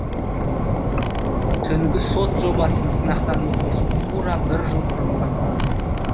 түнгі сот жобасын сынақтан өткізу тура бір жыл бұрын басталды